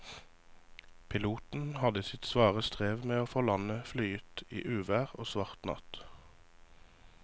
Piloten hadde sitt svare strev med å få landet flyet i uvær og svart natt.